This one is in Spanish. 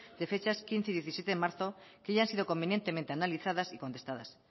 de fechas quince y diecisiete de marzo que ya han sido convenientemente analizadas y contestadas